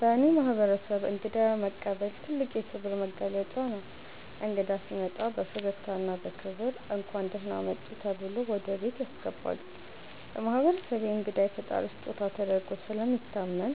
በእኔ ማህበረሰብ እንግዳ መቀበል ትልቅ የክብር መገለጫ ነው። እንግዳ ሲመጣ በፈገግታና በክብር “እንኳን ደህና መጡ” ተብሎ ወደ ቤት ያስገባሉ። በማህበረሰቤ እንግዳ የፈጣሪ ስጦታ ተደርጎ ስለሚታመን